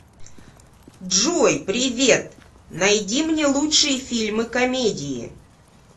джой привет найди мне лучшие фильмы комедии